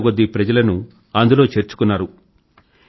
వందల కొద్దీ ప్రజలను అందులో చేర్చుకున్నారు